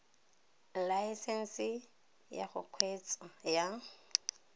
laesense ya go kgweetsa ya